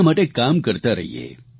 તેમના માટે કામ કરતા રહીએ